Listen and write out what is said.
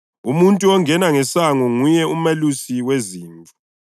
Umuntu ongena ngesango nguye umelusi wezimvu.